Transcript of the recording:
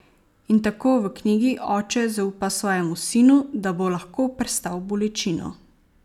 In tako v knjigi oče zaupa svojemu sinu, da bo lahko prestal bolečino.